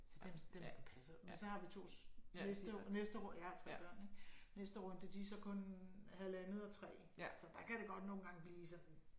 Så dem dem passer jeg jo men så har vi to næste næste jeg har 3 børn ik næste runde de er så kun halvandet og 3 så der kan det godt nogle gange blive sådan